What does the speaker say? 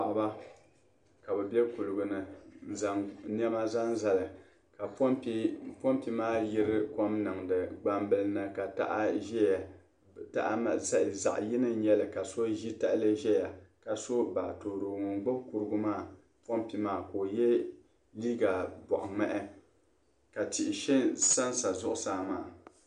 paɣiba ka bɛ be kuliga ni n-zaŋ nɛma zaŋ zali ka pompi maa yiri kom niŋdi gbambila ni ka tahili ka so ʒi tahili zaya ka so baatooro ŋun gbubi pompi maa ka o ye liiga bɔɣiŋmahi ka tihi sansa zuɣusaa maa